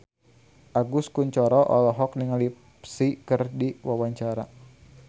Agus Kuncoro olohok ningali Psy keur diwawancara